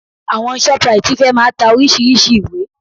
Àwọn Shoprite fẹ́ máa ta oríṣìíríṣìí ìwé